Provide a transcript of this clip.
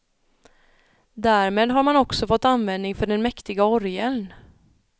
Därmed har man också fått användning för den mäktiga orgeln.